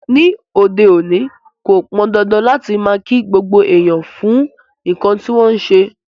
Ní òde òní, ko pọ́ndándán láti máa ki gbogbo èèyàn fún nkán ti wọn n ṣe.